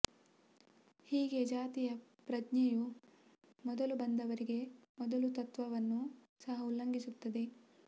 ಹೀಗೆ ಜಾತಿ ಪ್ರಜ್ಞೆಯು ಮೊದಲು ಬಂದವರಿಗೆ ಮೊದಲು ತತ್ವವನ್ನು ಸಹ ಉಲ್ಲಂಘಿಸುತ್ತದೆ